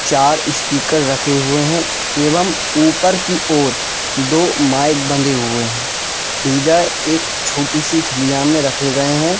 चार स्पीकर रखे हुए एवं ऊपर की ओर दो माइक बंदे हुए हैं एक छोटे से थालिया में रखे गए हैं।